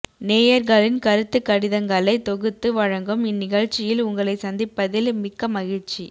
நேயர்களின் கருத்துக் கடிதங்களை தொகுத்து வழங்கும் இந்நிகழ்ச்சியில் உங்களை சந்திப்பதில் மிக்க மகிழ்ச்சி